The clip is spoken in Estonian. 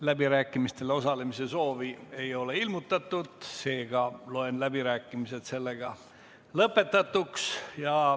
Läbirääkimistel osalemise soovi ei ole ilmutatud, seega loen läbirääkimised lõpetatuks.